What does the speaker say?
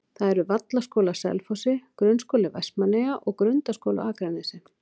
Það eru Vallaskóli á Selfossi, Grunnskóli Vestmannaeyja og Grundaskóli á Akranesi.